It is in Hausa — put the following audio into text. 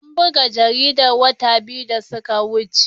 An buga jaridar wata biyu da suka wuce.